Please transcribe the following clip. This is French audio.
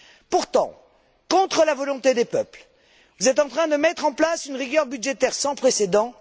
Pourtant, contre la volonté des peuples, vous êtes en train de mettre en place une rigueur budgétaire sans précédent.